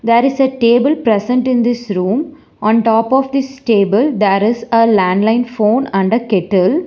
There is a table present in this room on top of this stable there is a landline phone under kettle.